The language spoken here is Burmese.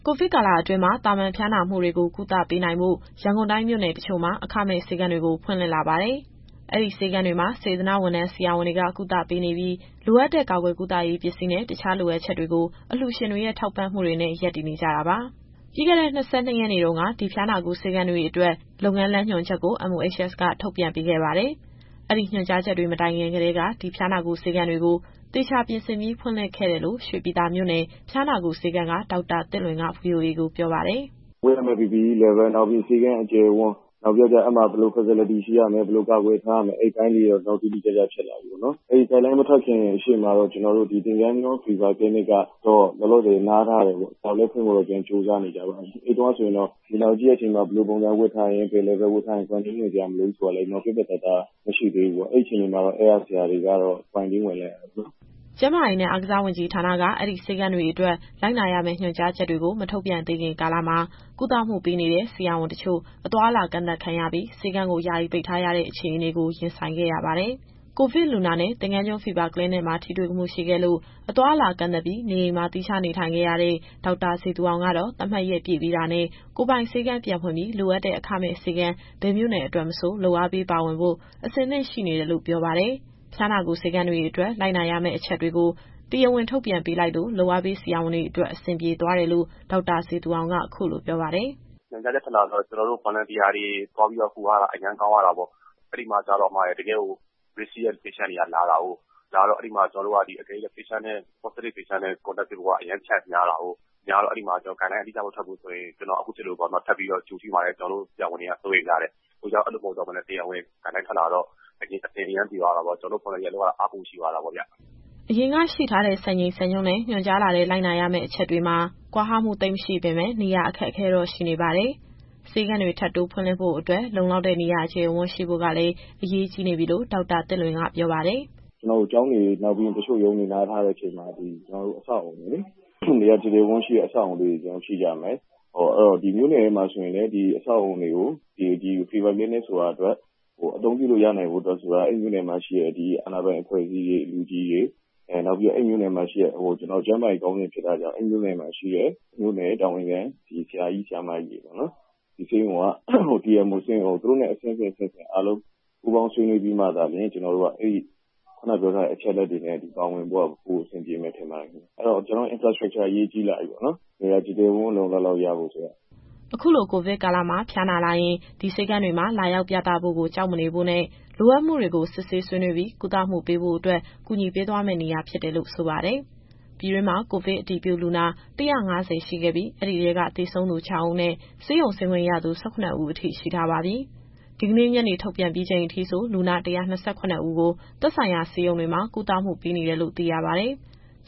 ိုဗစ်ကာလအတွင်း သာမန်ဖျားနာမှုတွေကို ကုသပေးနိုင်ဖို့ ရန်ကုန်တိုင်း မြို့နယ်တချို့မှာ အခမဲ့ဆေးခန်းတွေ ဖွင့်လာပါတယ်။ အဲဒီဆေးခန်းတွေမှာ စေတနာ့ဝန်ထမ်း ဆရာဝန်တွေက ကုသပေးနေပြီး လိုအပ်တဲ့ ကာကွယ်ကုသရေးပစ္စည်းနဲ့ တခြားလိုအပ်ချက်တွေကို အလှူရှင်တွေရဲ့ထောက်ပံ့မှုတွေနဲ့ ရပ်တည်နေကြတာပါ။ ပြီးခဲ့တဲ့ ၂၂ ရက်နေ့တုန်းက ဒီ ဖျားနာကုဆေးခန်းတွေအတွက် လုပ်ငန်းလမ်းညွှန်ချက်ကို MOHS ကထုတ်ပြန်ပေးခဲ့ပါတယ်။ အဲဒီညွှန်ကြားချက်တွေ မတိုင်ခင်ကတည်းက ဒီဖျားနာကုဆေးခန်းတွေကို သေချာပြင်ဆင်ပြီး ဖွင့်လှစ်ခဲ့တယ်လို့ ရွှေပြည်သာမြို့နယ် ဖျားနာကုဆေးခန်းက ဒေါက်တာသစ်လွင်က VOA ကိုပြောပါတယ်။ “ဝတ်ရမယ့် PPE Level ၊ ဆေးခန်းအကျယ်အဝန်း၊ အဲဒီမှာ ဘယ်လို Facility ရှိရမယ်၊ ဘယ်လိုကာကွယ်ထားရမယ်။ အဲဒီအပိုင်းလေးတွေတော့ တိတိကျကျဖြစ်လာပြီပေါ့နော်။ အဲဒီ Guideline မထွက်ခင်ရှေ့မှာတော့ သင်္ဃန်းကျွန်း Fever Clinic ကတော့ လောလောဆယ်နားထားတယ်။ ဖွင့်ဖို့တော့ ပြန်ကြိုးစားနေကြပါပြီ။ အဲဒီတုန်းကဆိုရင်တော့ လူနာကိုကြည့်တဲ့အချိန်မှာ ဘယ်လိုပုံစံဝတ်ထားရင်၊ ဘယ် Level ဝတ်ထားရင် Quarantine ဝင်စရာမလိုဘူးဆိုတာလည်း ပြတ်ပြတ်သားသား မရှိသေးဘူးပေါ့။ အဲဒီအချိန်မှာ အဲဒီကဆရာတွေကတော့ Quarantine ဝင်လိုက်ရတာပေါ့နော်။” ကျန်းမာရေးနဲ့ အားကစားဝန်ကြီးဌာနက အဲဒီဆေးခန်းတွေအတွက် လိုက်နာရမယ့်ညွှန်ကြားချက်တွေကို မထုတ်ပြန်သေးခင်ကာလမှာ ကုသမှုပေးနေတဲ့ဆရာဝန်တချို့ အသွားအလာကန့်သတ်ခံရပြီး ဆေးခန်းကို ယာယီပိတ်ထားရတဲ့ အခြေအနေကို ရင်ဆိုင်ခဲ့ရပါတယ်။ ကိုဗစ်လူနာနဲ့ သင်္ဃန်းကျွန်း Fever Clinic မှာ ထိတွေ့မှု ရှိခဲ့လို့ အသွားအလာ ကန့်သတ်ပြီး နေအိမ်မှာ သီးခြားနေထိုင်ခဲ့ရတဲ့ ဒေါက်တာဇေသူအောင်ကတော့ သတ်မှတ်ရက်ပြည့်ပြီးတာနဲ့ ကိုယ်ပိုင်ဆေးခန်းပြန်ဖွင့်ပြီး လိုအပ်တဲ့ အခမဲ့ဆေးခန်း ဘယ်မြို့နယ်အတွက်မဆို လုပ်အားပေးပါဝင်ဖို့ အဆင်သင့်ရှိနေတယ်လို့ ပြောပါတယ်။ ဖျားနာကုဆေးခန်းတွေအတွက် လိုက်နာဆောင်ရွက်ရမယ့်အချက်တွေကို တရားဝင်ထုတ်ပြန်ပေးလိုက်လို့ လုပ်အားပေးဆရာဝန်တွေအတွက် အဆင်ပြေသွားတယ်လို့ ဒေါက်တာဇေသူအောင်က အခုလိုပြောပါတယ်။ “ညွှန်ကြားချက်ထွက်လာတော့ ကျနော်တို့ Volunteer တွေ သွားကူညီရတာ အဲဒီမှာက တကယ့်ကို risk ရှိတဲ့လူနာတွေလာတော့ ကျနော်တို့က Positive လူနာနဲ့ Contact ဖြစ်ဖို့က အရမ်းများတယ်။ အဲတော့ Guideline အတိအကျမထွက်ဘူးဆိုရင် ကျနော်အခုဖြစ်သလိုပေါ့နော်... ထပ်ပြီးတော့ Q ထိမှာရယ်၊ ကျနော်တို့ဆရာဝန်တွေက စိုးရိမ်ကြတယ်။ အခုက တရားဝင် ညွှန်ကြားချက်ထွက်လာတော့ အရမ်းအဆင်ပြေပြီး ကျနော်တို့ Volunteer လုပ်ရတာ အားပိုရှိသွားတာပေါ့ဗျ။” အရင်ကရှိထားတဲ့ စံချိန်စံနှုန်းနဲ့ ညွှန်ကြားလာတဲ့ လိုက်နာရမယ့်အချက်တွေမှာ ကွာဟမှုသိပ်မရှိပေမဲ့ နေရာအခက်အခဲတော့ ရှိနေပါတယ်။ ဆေးခန်းတွေ ထပ်တိုးဖွင့်လှစ်ဖို့အတွက် လုံလောက်တဲ့နေရာအကျယ်အဝန်း ရှိဖို့ကလည်း အရေးကြီးနေပြီလို့ ဒေါက်တာသစ်လွင်ကပြောပါတယ်။ “ကျောင်းတွေနဲ့ တချို့ရုံးတွေနားထားတဲ့အချိန်မှာ နေရာကျယ်ဝန်းတဲ့အဆောက်အအုံတွေရှိကြမယ်။ မြို့နယ်တွေမှာဆိုရင် ဒီအဆောက်အအုံတွေကို Fever Clinic အတွက် အသုံးပြုဖို့ရနိုင်ဖို့ဆိုတာ အဲဒီမြို့နယ်မှာရှိတဲ့ အာဏာပိုင်အဖွဲ့အစည်းတွေ၊ အဲဒီမြို့နယ်မှာရှိတဲ့ ကျန်းမာရေးတာဝန်ခံ ဆရာ၊ ဆရာမကြီးတွေ၊ ဆေးရုံအုပ် သူတို့နဲ့အားလုံးပူးပေါင်းဆွေးနွေးပြီးမှသာလျှင် ခုနတုန်းကအချက်အလက်တွေနဲ့ ပါဝင်ဖို့က အဆင်ပြေပါမယ်ခင်ဗျ။ အဲတော့ ကျနော်တို့ Infrastructure အရေးကြီးလာပြီပေါ့နော်။ နေရာကျယ်ကျယ်ဝန်းဝန်း လုံလုံလောက်လောက်ရဖို့ဆိုတာ။” အခုလိုကိုဗစ်ကာလမှာ ဖျားနာလာရင် ဒီဆေးခန်းတွေမှာ လာရောက်ပြသဖို့ကို ကြောက်မနေဖို့နဲ့ လိုအပ်မှုတွေကို စစ်ဆေးဆွေးနွေးပြီး ကုသပေးဖို့အတွက် ကူညီပေးသွားမယ့်နေရာဖြစ်တယ်လို့ ဆိုပါတယ်။ ပြည်တွင်းမှာ ကိုဗစ်အတည်ပြုလူနာ ၁၅၀ ရှိခဲ့ပြီး အဲဒီထဲက သေဆုံးသူ ၆ ဦးနဲ့ ဆေးရုံဆင်းခွင့်ရသူ ၁၇ ဦး ရှိထားပါပြီ။ ဒီကနေ့ ညနေထုတ်ပြန်ပြီးချိန်အထိ လူနာ ၁၂၇ ဦးကို သက်ဆိုင်ရာဆေးရုံတွေမှာ ကုသမှုပေးနေတယ်လို့ သိရပါတယ်။